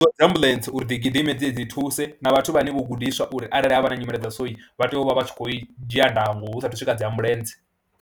Hu vhudziwa dzi ambuḽentse uri dzi gidime dzi ye dzi thuse na vhathu vhane vho gudiswa uri arali ha vha na nyimele dza so vha tea u vha vha tshi khou dzhia ndango hu saathu swika dzi ambuḽentse.